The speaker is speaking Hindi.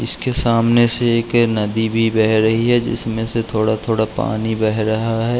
इसके सामने से एक नदी भी बह रही है जिसमे से थोड़ा थोड़ा पानी बह रहा है।